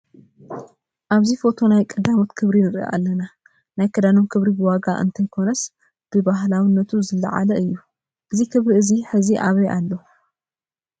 ኣብዚ ፎቶ ናይ ቀዳሞት ክብሪ ንርኢ ኣለና፡፡ ናይ ክዳኖም ክብሪ ብዋጋ እንተይኮነስ ብባህላውነቱ ዝለዓለ እዩ፡፡ እዚ ክብሪ እዚ ሕዚ ኣበይ ኣሎ?